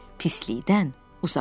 Pislikdən uzaq ol.